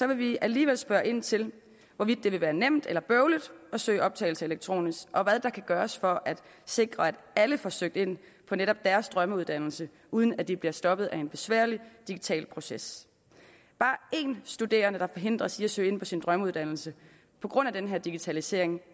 vi alligevel spørge ind til hvorvidt det vil være nemt eller bøvlet at søge optagelse elektronisk og hvad der kan gøres for at sikre at alle får søgt ind på netop deres drømmeuddannelse uden at de bliver stoppet af en besværlig digital proces bare én studerende der forhindres i at søge ind på sin drømmeuddannelse på grund af den her digitalisering